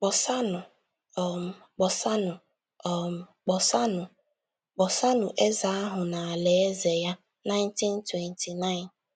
“ Kpọsaanụ um, kpọsaanụ um, kpọsaanụ, kpọsaanụ Eze ahụ na alaeze ya ” 1929